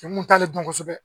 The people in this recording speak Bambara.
t'ale dɔn kosɛbɛ